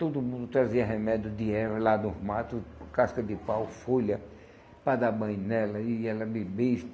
Todo mundo trazia remédio de erva lá dos mato, casca de pau, folha, para dar banho nela e ela bebia isso.